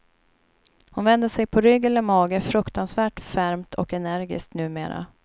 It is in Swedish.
Hon vänder sig på rygg eller mage fruktansvärt fermt och energiskt numera.